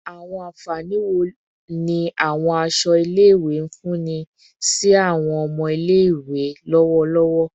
Awọn anfani wo ni awọn aṣọ ile-iwe nfunni si awọn ọmọ ile-iwe lọwọlọwọ?